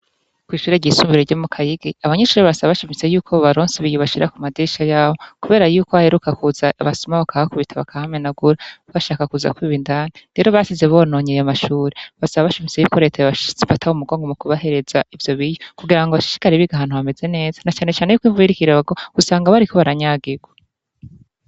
Kw'ishuri ryisumbuye ryo mu kayigi abanyenshuri barasaba bashimise yuko bobaronsa ibiyo bashira ku madirisha yabo, kubera yuko haheruka kuza abasuma bakabakubita bakahamenagura bashaka kuza kwiba indani rero basize bononye ayo mashure basaba bashimise yuko reta yobafata mumugongo mu kubahereza ivyo biyo kugira ngo bashishikara biga hantu hameze neza na canecane yuko imvura iriko irarwa usanga bariko baranyagirwa.